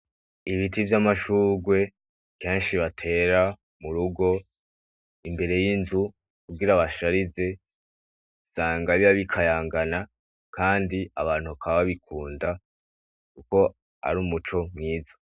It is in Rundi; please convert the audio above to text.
Ibiti vy’amashurwe meshi batera murugo imbere y’inzu kugira basharize usanga biba bikayangayangana kandi abantu bakaba babikunda kuko ari umuco mwiza,